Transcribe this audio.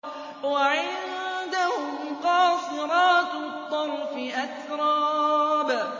۞ وَعِندَهُمْ قَاصِرَاتُ الطَّرْفِ أَتْرَابٌ